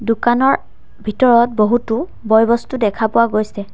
দোকানৰ ভিতৰত বহুতো বয়-বস্তু দেখা পোৱা গৈছে।